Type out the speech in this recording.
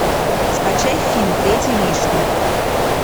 скачай фильм третий лишний